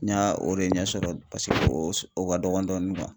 N y'a o de ɲɛ sɔrɔ peseke o ka dɔgɔ dɔɔni kuwa